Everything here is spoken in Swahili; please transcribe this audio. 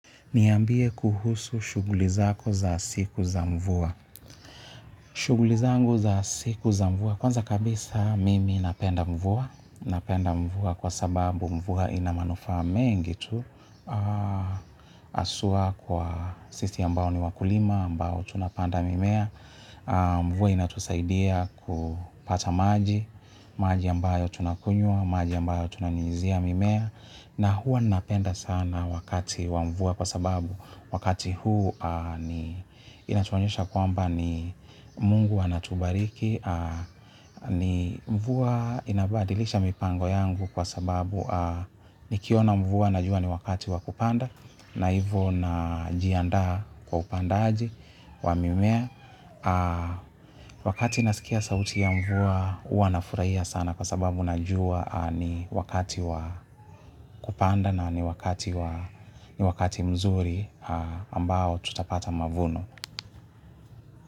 Niambie kuhusu shughuli zako za siku za mvua. Shughuli zangu za siku za mvua, kwanza kabisa mimi napenda mvua. Napenda mvua kwa sababu mvua ina manufaa mengi tu. Haswa kwa sisi ambao ni wakulima, ambao tunapanda mimea. Mvua inatusaidia kupata maji, maji ambayo tunakunywa, maji ambayo tunanyunyuzia mimea. Na huwa napenda sana wakati wa mvua kwa sababu wakati huu inatuonyesha kwamba ni Mungu anatubariki mvua inabadilisha mipango yangu kwa sababu nikiona mvua najua ni wakati wakupanda na hivo najiandaa kwa upandaji wa mimea. Wakati nasikia sauti ya mvua huwa nafurahia sana kwa sababu najua ni wakati wa kupanda, na ni wakati mzuri ambao tutapata mavuno.